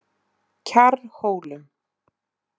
Kjarrhólum